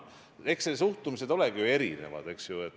Eks suhtumised olegi ju erinevad.